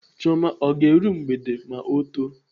Chioma ọ ga-eru mgbede ma ọ too?